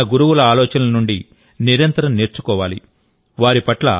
మనం మన గురువుల ఆలోచనల నుండి నిరంతరం నేర్చుకోవాలి